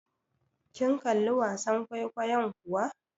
Kin kalli wasan kwaikwayon kuwa?